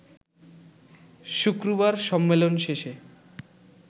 শুক্রবার সম্মেলন শেষে